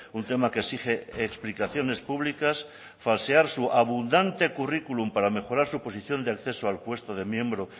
un tema que exige explicaciones públicas falsear su abundante currículum para mejorar su posición de acceso al puesto de miembro